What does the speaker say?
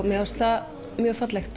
mér fannst það mjög fallegt